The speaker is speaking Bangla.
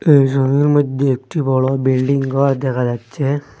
এই ছবির মইধ্যে একটি বড় বিল্ডিং ঘর দেখা যাচ্ছে।